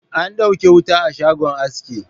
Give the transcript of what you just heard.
An ɗauke wuta a shagon aski